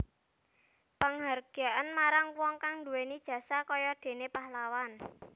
Panghargyan marang wong kang duwéni jasa kaya déné pahlawan